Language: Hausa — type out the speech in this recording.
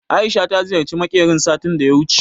Aisha ta ziyarci makerin satin daya wuce